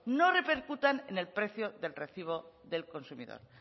no repercutan en el precio del recibo del consumidor